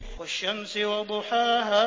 وَالشَّمْسِ وَضُحَاهَا